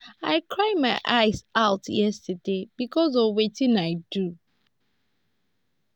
i cry my eyes out yesterday because of wetin i do